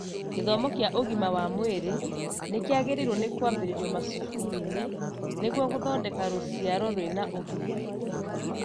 Gĩthomo kĩa ũgima wa mwĩrĩ nĩkĩagĩrĩirwo nĩ kwambĩrĩrio macukuru-inĩ nĩguo gũthondeka rũciaro rwĩna ũgima